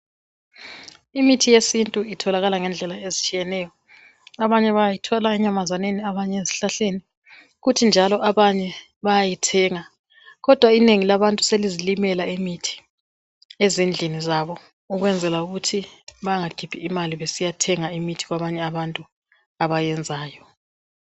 Imithi yesintu itholakala ngendlela ezitshiyeneyo abanye bayithola enyamazaneni abanye ezihlahleni kuthi njalo abanye bayayithenga kodwa inengi labantu selizilimela imithi ezindlini zabo ukwenzela ukuthi bengakhiphi imali besiyathenga imithi kwabanye abantu abayenzayo.